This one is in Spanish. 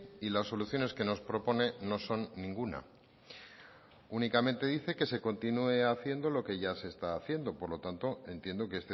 y las soluciones que nos propone no son ninguna únicamente dice que se continúe haciendo lo que ya se está haciendo por lo tanto entiendo que